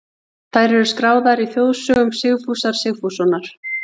Þær eru skráðar í þjóðsögum Sigfúsar Sigfússonar.